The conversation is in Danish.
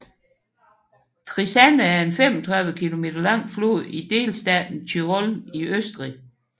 Trisanna er en 35 km lang flod i delstaten Tyrol i Østrig